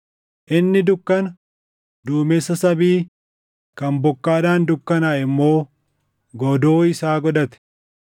Inni dukkana, duumessa samii kan bokkaadhaan dukkanaaʼe immoo godoo isaa godhate.